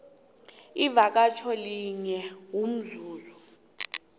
ivakatjho linye umzuzi